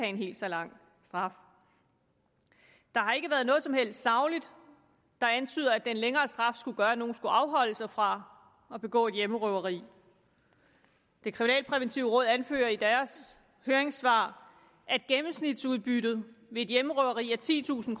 en helt så lang straf der har ikke været noget som helst sagligt der antyder at den længere straf skulle gøre at nogen skulle afholde sig fra at begå et hjemmerøveri det kriminalpræventive råd anfører i deres høringssvar at gennemsnitsudbyttet ved et hjemmerøveri er titusind